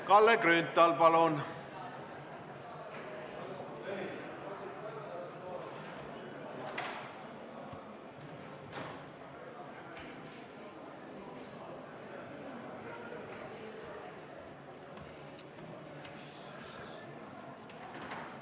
Kalle Grünthal, palun!